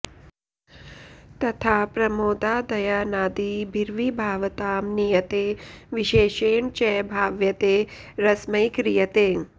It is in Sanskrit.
तथा प्रमोदादयानादिभिर्विभावतां नीयते विशेषेण च भाव्यते रसमयी क्रियते